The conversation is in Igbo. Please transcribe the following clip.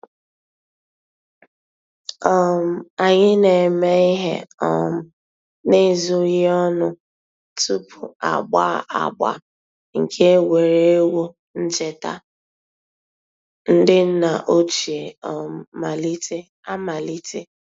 um Ànyị̀ nà-émè íhè um n'èzòghì ònù túpù àgbà àgbà nke ègwè́ré́gwụ̀ nchètà ńdí nnà òchìè um àmàlítè.